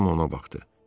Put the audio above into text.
Cemma ona baxdı.